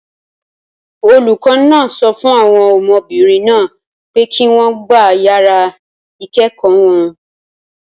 Olùkọ́ náà sọ fún àwọn ọmọbìnrin náà pé kí wọ́n gba yàrá ìkẹ́kọ̀ọ́ wọn.